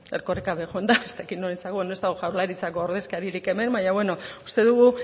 erkoreka ere joan da ez dakit norentzako ez dago jaurlaritzako ordezkaririk hemen baina bueno uste dugu